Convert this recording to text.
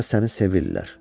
Burda səni sevirlər.